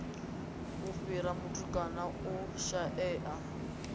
u fhira vhatukana u shaea